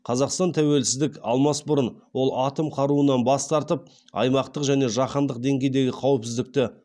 қазақстан тәуелсіздік алмас бұрын ол атом қаруынан бас тартып аймақтық және жаһандық деңгейдегі қауіпсіздікті